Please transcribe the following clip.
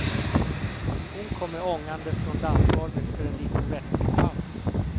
Hon kommer ångande från dansgolvet för en liten vätskepaus.